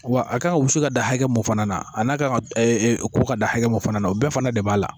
wa a kan ka wusu ka dan hakɛ mun fana na a n'a kan ka ɛ ɛ ko ka dan hakɛ mun fana na o bɛɛ fana de b'a la